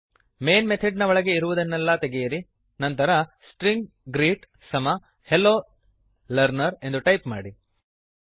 main method ನ ಒಳಗೆ ಇರುವುದನ್ನೆಲ್ಲ ತೆಗೆಯಿರಿ ನಂತರ ಸ್ಟ್ರಿಂಗ್ ಗ್ರೀಟ್ ಸ್ಟ್ರಿಂಗ್ ಗ್ರೀಟ್ ಸಮ ಹೆಲ್ಲೊ ಲರ್ನರ್ ಹಲೋ ಲರ್ನರ್ ಎಂದು ಟೈಪ್ ಮಾಡಿ